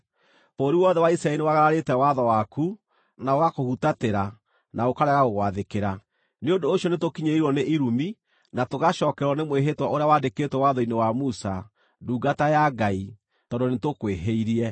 Bũrũri wothe wa Isiraeli nĩwagararĩte watho waku na ũgakũhutatĩra, na ũkarega gũgwathĩkĩra. “Nĩ ũndũ ũcio nĩtũkinyĩrĩirwo nĩ irumi na tũgacookererwo nĩ mwĩhĩtwa ũrĩa wandĩkĩtwo watho-inĩ wa Musa, ndungata ya Ngai, tondũ nĩtũkwĩhĩirie.